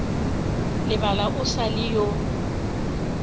lebala o sa le yo